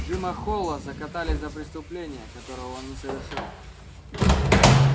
джима холла закатали за преступление которого он не совершал